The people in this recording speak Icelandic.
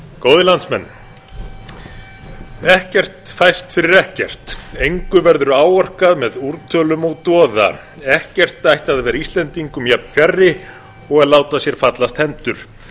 góðir landsmenn ekkert fæst fyrir ekkert engu verður áorkað með úrtölum og doða ekkert ætti að vera íslendingum jafnfjarri og láta sér fallast hendur